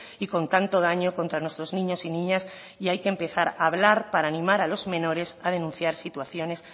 y con tanto daño contra nuestros niños y niñas y hay que empezar a hablar para animar a los menores a denunciar situaciones